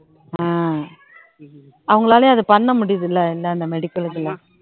ஆஹ் அவங்களாலயும் அதை பண்ண முடியுதுல்ல இந்த medical க்கு எல்லாம்